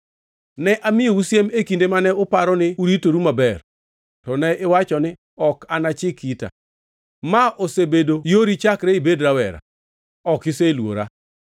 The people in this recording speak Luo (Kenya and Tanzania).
Ne amiyou siem e kinde mane uparo ni uritoru maber, to ne iwacho ni, ‘Ok anachik ita!’ Ma osebedo yori chakre ibed rawera; ok iseluora.